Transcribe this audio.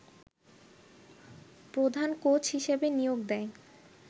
প্রধান কোচ হিসেবে নিয়োগ দেয়